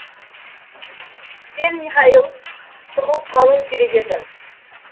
сен михаэл тығылып қалуың керек еді